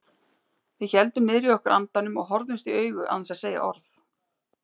Við héldum niðri í okkur andanum og horfðumst í augu án þess að segja orð.